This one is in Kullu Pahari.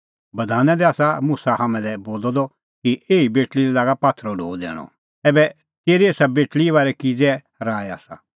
बधाना दी आसा मुसा हाम्हां लै बोलअ द कि एही बेटल़ी लै लागा पात्थरो ढो दैणअ ऐबै तेरी एसा बेटल़ीए बारै किज़ै राऐ आसा